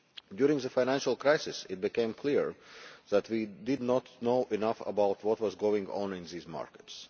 During the financial crisis, it became clear that we did not know enough about what was going on in these markets.